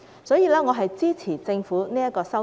所以，我支持政府的修訂。